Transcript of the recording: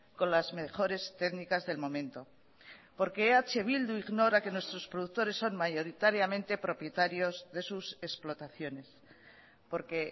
con las mejores técnicas del momento porque eh bildu ignora que nuestros productores son mayoritariamente propietarios de sus explotaciones porque